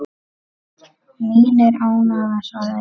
Mín er ánægjan svaraði ég.